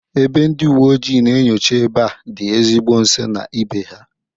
Ebe ndị uwe ojii na-enyocha ebe a dị ezigbo nso na ibe ha